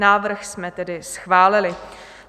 Návrh jsme tedy schválili.